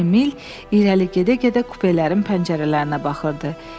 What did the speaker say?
Emil irəli gedə-gedə kupelərin pəncərələrinə baxırdı.